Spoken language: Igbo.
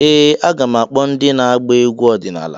Ee! Aga m akpọ ndị na-agba egwu ọdịnala.